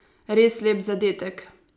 Res lep zadetek!